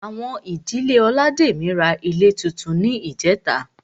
Àwọn olademi ra ilé túntún ní ìjẹ́ta